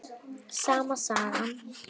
Sama sagan.